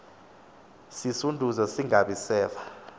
sisunduze singabi seva